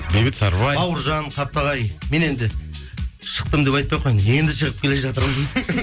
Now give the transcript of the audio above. бейбіт сарыбай бауыржан мен енді шықтым деп айтпай ақ қояйын енді шығып келе жатырмын